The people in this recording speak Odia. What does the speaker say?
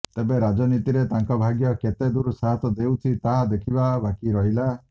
ତେବେ ରାଜନୀତିରେ ତାଙ୍କ ଭାଗ୍ୟ କେତେ ଦୂର ସାଥ୍ ଦେଉଛି ତାହା ଦେଖିବା ବାକି ରହିଲା